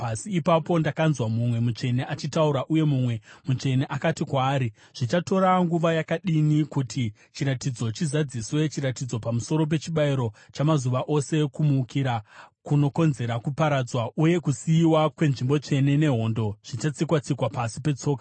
Ipapo ndakanzwa mumwe mutsvene achitaura, uye mumwe mutsvene akati kwaari, “Zvichatora nguva yakadini kuti chiratidzo chizadziswe, chiratidzo pamusoro pechibayiro chamazuva ose, kumukira kunokonzera kuparadzwa, uye kusiyiwa kwenzvimbo tsvene nehondo zvichatsikwa-tsikwa pasi petsoka?”